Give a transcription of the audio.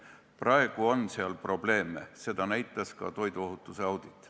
Praegu on seal probleeme, seda näitas ka toiduohutuse audit.